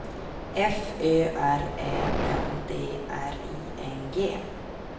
F Ö R Ä N D R I N G